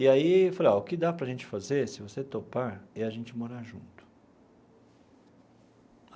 E aí eu falei, olha, o que dá para a gente fazer, se você topar, é a gente morar junto.